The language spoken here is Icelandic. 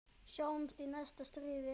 Sjáumst í næsta stríði.